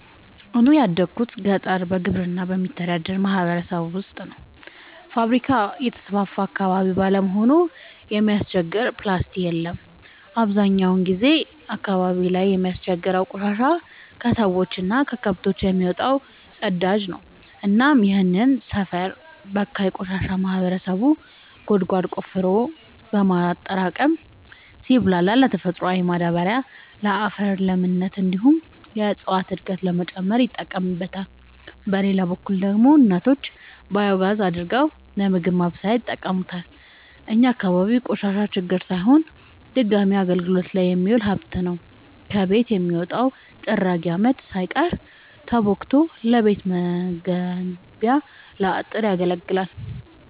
እኔ ያደጉት ገጠር በግብርና በሚተዳደር ማህበረሰብ ውስጥ ነው። ፋብሪካ የተስፋፋበት አካባቢ ባለመሆኑ የሚያስቸግር ፕላስቲ የለም አብዛኛውን ጊዜ አካባቢው ላይ የሚያስቸግረው ቆሻሻ የከሰዎች እና ከከብቶች የሚወጣው ፅዳጅ ነው እናም ይህንን ሰፈር በካይ ቆሻሻ ማህበረሰቡ ጉድጓድ ቆፍሮ በማጠራቀም ሲብላላ ለተፈጥሯዊ ማዳበሪያነት ለአፈር ለምነት እንዲሁም የእፀዋትን እድገት ለመጨመር ይጠቀምበታል። በሌላ በኩል ደግሞ እናቶች ባዮጋዝ አድርገው ለምግብ ማብሰያነት ይጠቀሙበታል። እኛ አካባቢ ቆሻሻ ችግር ሳይሆን ድጋሚ አገልግት ላይ የሚውል ሀብት ነው። ከቤት የሚወጣው ጥራጊ አመድ ሳይቀር ተቦክቶ ለቤት መገንቢያ ለአጥር ያገለግላል።